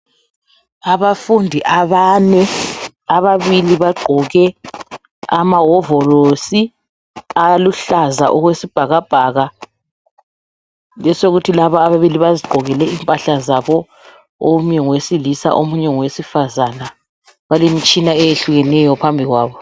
Abafundi abane. Ababili bagqoke amahovolosi aluhlaza okwesibhakabhaka. Besokuthi laba ababili bazigqokele impahla zabo. Omunye ngowesilisa omunye ngowesifazana. Balemitshina eyehlukeneyo phambi kwabo.